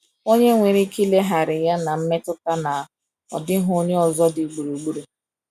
Onye nwere ike ilegharị ya na mmetụta na ọ dịghị onye ọzọ dị gburugburu.